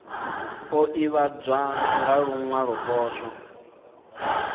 o ivhadzwa nga luwalo poswo